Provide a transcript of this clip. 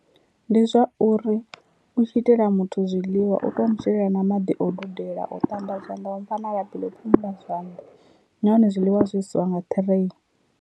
Ndi zwa uri u tshi itela muthu zwiḽiwa u to mu shelela na maḓi o dudela o ṱamba zwanḓa wa mu fha na labi ḽo phumula zwanḓa nahone zwiḽiwa zwo isiwa nga tray.